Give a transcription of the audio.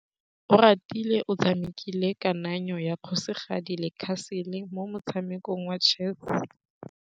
Oratile o tshamekile kananyô ya kgosigadi le khasêlê mo motshamekong wa chess.